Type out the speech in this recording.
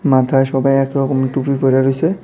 মাথায় সবাই এক রকমের টুপি পইরা রইসে।